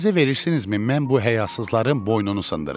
İcazə verirsinizmi mən bu həyasızların boynunu sındırım?